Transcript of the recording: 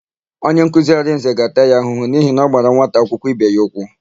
Onyenkuzi Arịnze ga-ata ya ahụhụ n'ihi na ọ gbara nwata akwụkwọ ibe ya ụkwụ.